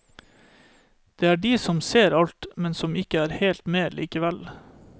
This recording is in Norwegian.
Det er de som ser alt, men som ikke er helt med likevel.